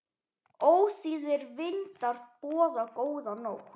Ómþýðir vindar boða góða nótt.